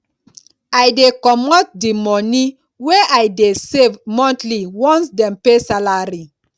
i dey comot di moni wey i dey save monthly once dem pay salary